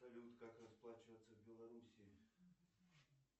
салют как расплачиваться в белоруссии